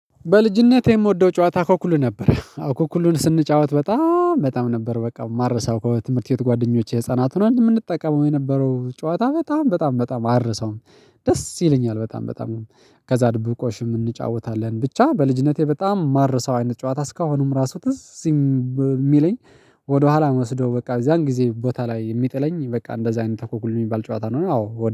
በልጅነቴ የምወደው ጨዋታ እኮእኩል ነበር እኮ እኩሉን ስንጫወት በጣም በጣም ነበር በቃ ማረሳው ከትምህርት ቤት ጓደኞቼ ህፃናት ሆነን አንድ የምንጠቀመው የነበረው ጨዋታ በጣም በጣም በጣም አረሰውም ደስ ይለኛል በጣም በጣም። ከዛ ድብብቆሽም እንጫወታለን ብቻ በልጅነቴ በጣም ማርሳው አይነት ጨዋታ እስካሁንም ራሱ ትዝ የሚለኝ። ወደኋላ እምእወስደው በቃ ያን ጊዜ ቦታ ላይ የሚጥለኝ በቃ እንደዛ አይነት አኩልኩሉ የሚባል ጨዋታ ነው። አዎ